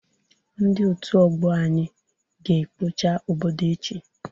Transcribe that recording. Ndị otu ọgbọ anyị ga ekpocha obodo echi